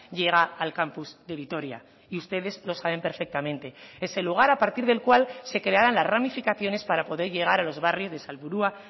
llega al campus de vitoria y ustedes lo saben perfectamente es el lugar a partir del cual se crearán las ramificaciones para poder llegar a los barrios de salburua